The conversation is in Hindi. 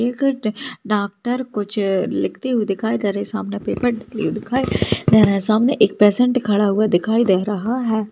एक ड डॉक्टर कुछ लिखती हुई दिखाई दे रही है सामने पेपर डली हुई दिखाई दे रहा है सामने एक पेशंट खड़ा हुआ दिखाई दे रहा है।